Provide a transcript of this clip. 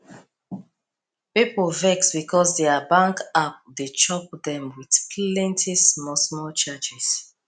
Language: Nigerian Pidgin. people vex because their bank app dey chop them with plenty smallsmall charges